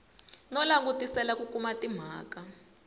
no langutisela ku kuma timhaka